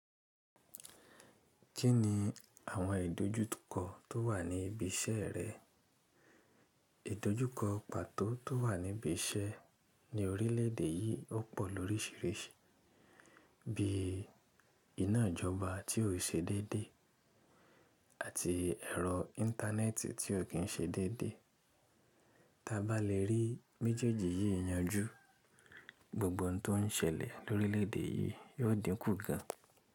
Kí ni àwọn ìdójúkọ tó wà ní ibi iṣẹ́ rẹ? Ìdójúkọ pàtó tó wà ní ibi iṣẹ́ ní orílẹ̀ èdè yìí ó pọ̀ lórísìíríìsí, bí iná ìjọba tí ó ṣe déédéé àti ẹ̀rọ íńtánẹ́ẹ̀tì tí ó kì í ṣe déédéé. Ta bá lè rí méjèèjì yìí yanjú, gbogbo ohun tó ń ṣẹlẹ̀ lórílẹ̀dè yìí yóò dínkù kan.